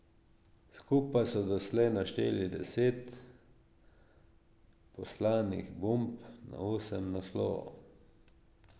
Skupaj so doslej našteli deset poslanih bomb na osem naslovov.